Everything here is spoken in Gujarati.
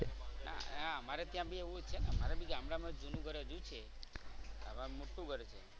અમારે ત્યાં બી એવું જ છે. અમારે બી ગામડા માં જૂનું ઘર હજી છે. મોટું ઘર છે